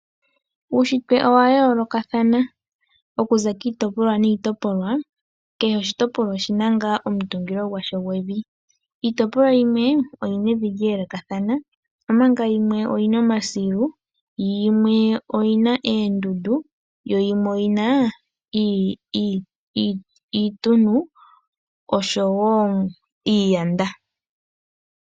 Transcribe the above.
Uushitwe owayoolokathana okuza kiitopolwa niitopolwa. Kehe oshitopolwa oshina omutungilo gwasho gwevi. Iitopolwa yimwe oyina lyeelekathana, omanga yimwe oyina omasilu, yimwe oyina oondundu , yo yimwe oyina iituntu oshowoo iiyanda.